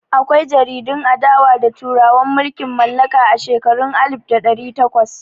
Akwai jaridun adawa da turawan mulkin mallaka a shekarun alif da ɗari takwas.